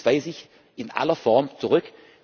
Dies weise ich in aller Form zurück.